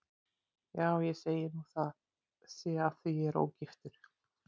Já, ég segi nú að það sé af því að ég er ógiftur.